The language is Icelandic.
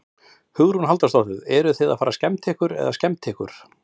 Hugrún Halldórsdóttir: Eruð þið að fara að skemmta eða skemmta ykkur?